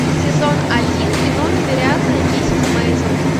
сезон один кино невероятная миссис мейзел